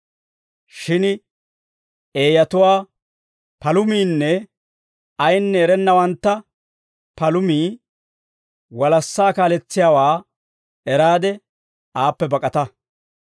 Shin eeyatuwaa palumiinne ayinne erennawanttu palumii walassaa kaaletsiyaawaa eraade aappe bak'ata.